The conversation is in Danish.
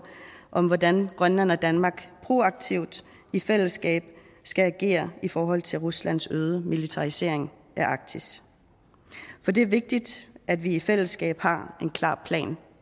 om hvordan grønland og danmark proaktivt i fællesskab skal agere i forhold til ruslands øgede militarisering af arktis for det er vigtigt at vi i fællesskab har en klar plan